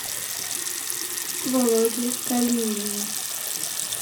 володе калинине